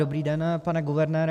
Dobrý den, pane guvernére.